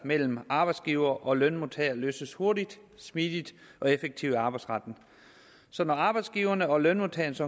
mellem arbejdsgivere og lønmodtagere løses hurtigt smidigt og effektivt i arbejdsretten så når arbejdsgivernes og lønmodtagernes